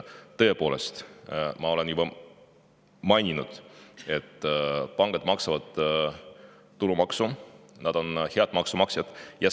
Tõepoolest, ma olen juba maininud, et pangad maksavad tulumaksu, nad on head maksumaksjad.